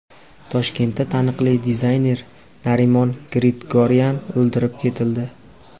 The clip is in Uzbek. Toshkentda taniqli dizayner Narimon Grigoryan o‘ldirib ketildi.